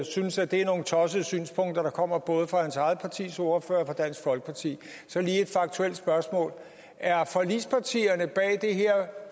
synes at det er nogle tossede synspunkter der kommer både fra hans eget partis ordfører og fra dansk folkeparti så lige et faktuelt spørgsmål er forligspartierne bag det her